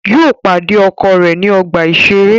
Yóò pàdé ọkọ̀ rẹ̀ ní ọgbà-ìṣeré